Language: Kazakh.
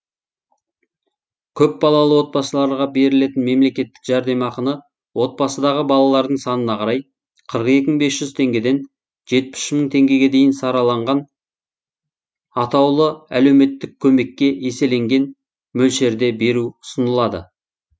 көпбалалы отбасыларға берілетін мемлекеттік жәрдемақыны отбасыдағы балалардың санына қарай қырық екі мың бес жүз теңгеден жетпіс үш мың теңгеге дейін сараланған атаулы әлеуметтік көмекке еселенген мөлшерде беру ұсынылады